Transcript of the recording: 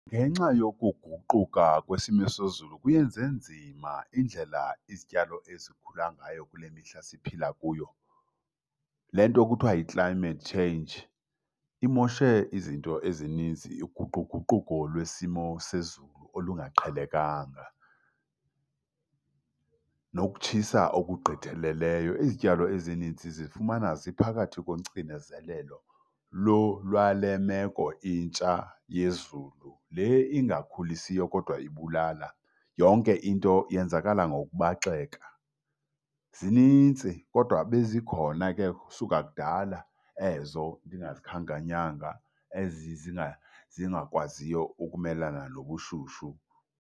Ngenxa yokuguquka kwesimo sezulu kuyenze nzima indlela izityalo ezikhula ngayo kule mihla siphila kuyo. Le nto kuthiwa yi-climate change imoshe izinto ezininzi. Uguquguquko lwesimo sezulu olungaqhelekanga nokutshisa okugqitheleleyo. Izityalo ezininzi zizifumana ziphakathi kocinezelelo lwale meko intsha yezulu, le ingakhulisiyo kodwa ibulala. Yonke into yenzakala ngokubaxeka. Zinintsi kodwa bezikhona ke kusuka kudala ezo ndingazikhankanyanga, ezi zingakwaziyo ukumelana nobushushu.